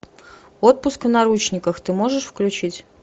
отпуск в наручниках ты можешь включить